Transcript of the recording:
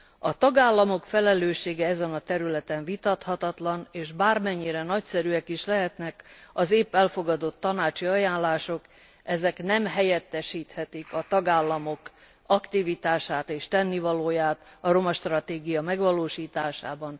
A tagállamok felelőssége ezen a területen vitathatatlan, és bármennyire nagyszerűek is lehetnek az épp elfogadott tanácsi ajánlások, nem helyettesíthetik a tagállamok aktivitását és tennivalóját a romastratégia megvalósításában.